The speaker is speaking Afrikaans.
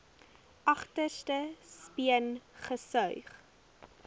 agterste speen gesuig